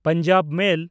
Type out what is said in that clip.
Punjab ᱢᱮᱞ